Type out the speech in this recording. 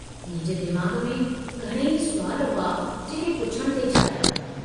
मुंहिंजे दिमाग़ में घणाई सुवाल हुआ जेके पुछण थे चाहिया।